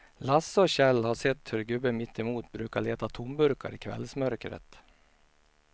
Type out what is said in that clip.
Lasse och Kjell har sett hur gubben mittemot brukar leta tomburkar i kvällsmörkret.